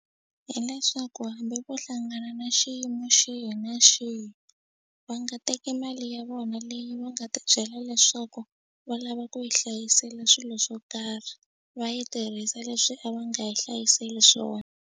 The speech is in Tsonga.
Hileswaku hambi vo hlangana na xiyimo xihi na xihi va nga teki mali ya vona leyi va nga tibyela leswaku va lava ku yi hlayisela swilo swo karhi va yi tirhisa leswi a va nga yi hlayiseli swona.